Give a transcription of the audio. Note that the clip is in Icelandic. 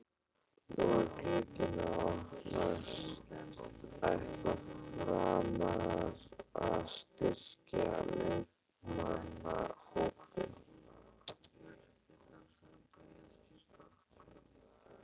Nú er glugginn að opnast, ætla Framarar að styrkja leikmannahópinn?